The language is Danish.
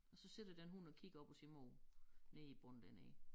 Og så sidder der en hund og kigger op og siger mor nede i bunden dernede